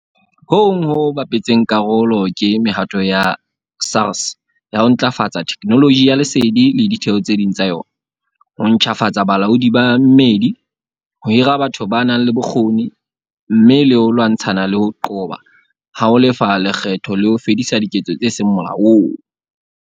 Ho hong ho bapetseng karolo ke mehato ya SARS ya ho ntlafatsa theknoloji ya lesedi le ditheo tse ding tsa yona, ho ntjhafatsa bolaodi ba mmedi, ho hira batho ba nang le bokgoni, mme le ho lwantshana le ho qoba ha ho lefa lekgetho le ho fedisa diketso tse seng molaong.